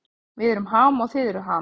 Við erum Ham og þið eruð Ham